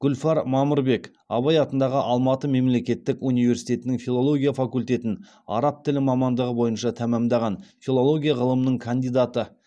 гүлфар мамырбек абай атындағы алматы мемлекеттік университетінің филология факультетін араб тілі мамандығы бойынша тәмамдаған филология ғылымының кандидаты